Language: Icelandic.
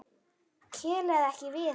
Kelaði ekki við hann.